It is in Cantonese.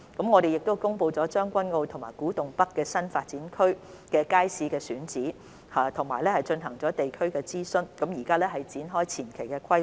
我們亦公布了將軍澳及古洞北新發展區新街市的選址，並進行了地區諮詢，現正展開前期規劃。